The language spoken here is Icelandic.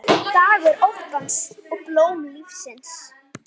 Dagur óttans og blóm lífsins